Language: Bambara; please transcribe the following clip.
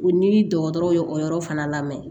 U ni dɔgɔtɔrɔ ye o yɔrɔ fana lamɛn